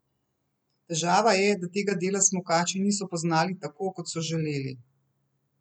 Težava je, da tega dela smukači niso poznali tako, kot so želeli.